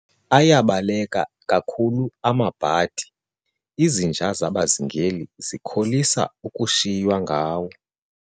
Ayabaleka kakhulu amabhadi, izinja zabazingeli zikholisa ukushiywa ngawo.